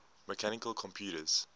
mechanical computers